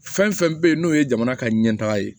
Fɛn fɛn bɛ yen n'o ye jamana ka ɲɛtaga ye